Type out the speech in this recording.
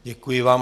Děkuji vám.